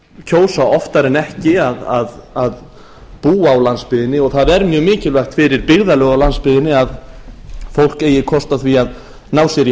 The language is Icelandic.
kjósa oftar en ekki að búa á landsbyggðinni og það er mjög mikilvægt fyrir byggðarlög á landsbyggðinni að fólk eigi kost á því að ná sér í